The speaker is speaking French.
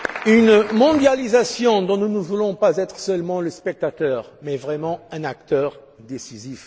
Une mondialisation dont nous ne voulons pas être seulement le spectateur mais véritablement un acteur décisif.